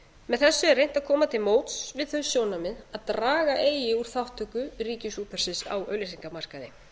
með þessu er reynt að koma til móts við þau sjónarmið að draga eigi úr þátttöku ríkisútvarpsins á auglýsingamarkaði